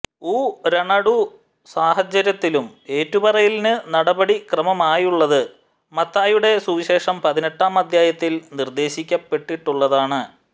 ഊ രണടുസാഹചര്യത്തിലും ഏറ്റുപറയലിന് നടപടിക്രമമായുള്ളത് മത്തായിയുടെ സുവിശേഷം പതിനെട്ടാം അദ്ധ്യായത്തിൽ നിർദ്ദേശിക്കപ്പെട്ടിട്ടുള്ളതാണ്